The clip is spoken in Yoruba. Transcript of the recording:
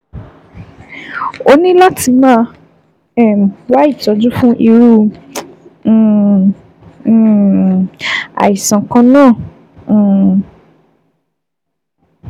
O ní láti máa um wá ìtọ́jú fún irú um um àìsàn kan náà um